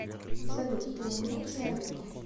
салют ты умнее человека